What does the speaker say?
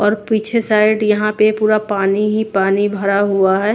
और पीछे साइड यहां पे पूरा पानी ही पानी भरा हुआ है।